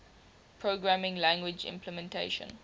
programming language implementation